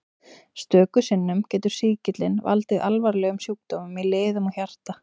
Stöku sinnum getur sýkillinn valdið alvarlegum sjúkdómum í liðum og hjarta.